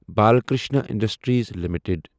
Balkrishna industries limited